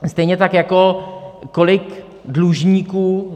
Stejně tak jako kolik dlužníků...